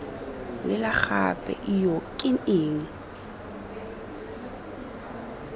lela gape ijoo ke eng